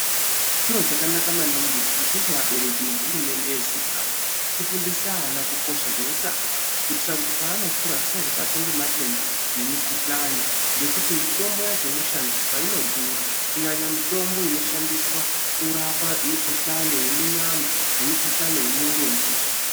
Chiro chakanaka maningi kuti isusu abereki nehurumende yeZimbabwe tifundise ana kukosha kweutano kuitira kuti paanokura asazobatwa ngematenda nemikuhlani ngekuti mitombo yacho inoshandiswa inodhura kunyanya mutombo inoshandiswa kurapa mikuhlani yemunyama nemikuhlani yemuurodzvi.